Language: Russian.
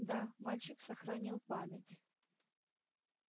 да мальчик сохранил память